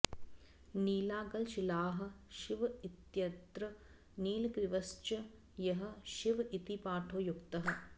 नीलागलशीलाः शिव इत्यत्र नीलग्रीवश्च यः शिव इति पाठो युक्तः